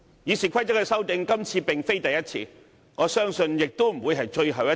《議事規則》的修訂，今次並非第一次，我相信亦不會是最後一次。